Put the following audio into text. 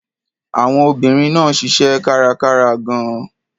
Àwọn obìnrin náà ṣiṣẹ́ kárakára gan-an.